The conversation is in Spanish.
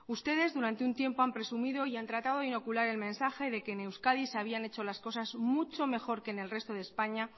ustedes durante un tiempo han presumido y han tratado de inocular el mensaje de que en euskadi se habían hecho las cosas mucho mejor que en el resto de españa